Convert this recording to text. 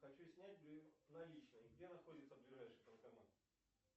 хочу снять наличные где находится ближайший банкомат